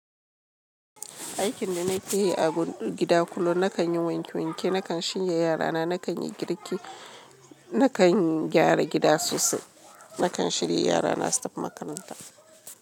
Aikin da na ke yi a gida kullum, na kan yi wanke wanke, na kan shirya yara na, na kan yi girki, na kan gyara gida sosai, na kan shirya yara na su tafi makaranta.